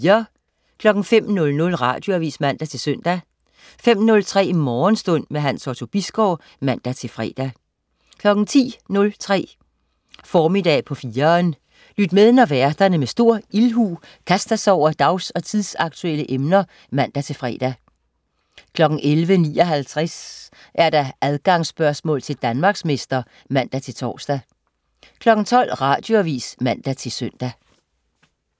05.00 Radioavis (man-søn) 05.03 Morgenstund. Hans Otto Bisgaard (man-fre) 10.03 Formiddag på 4'eren. Lyt med, når værterne med stor ildhu kaster sig over dags- og tidsaktuelle emner (man-fre) 11.59 Adgangsspørgsmål til Danmarksmester (man-tors) 12.00 Radioavis (man-søn)